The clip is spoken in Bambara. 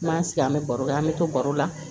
N m'an sigi an bɛ baro kɛ an bɛ to baro la